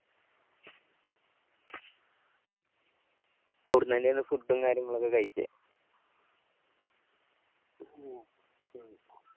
അവിടുന്ന് തന്നെയായിരുന്നു food ഉ കാര്യങ്ങളൊക്കെ കഴിച്ചേ